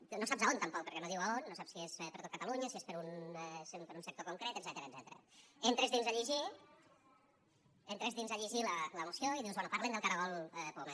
tu no saps a on tampoc perquè no diu a on no saps si és per a tot catalunya si és per a un sector concret etcètera entres dins a llegir la moció i dius bé parlen del caragol poma